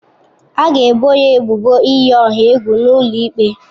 A ga-ebo ya ebubo iyi ọha egwu n'ụlọ ikpe.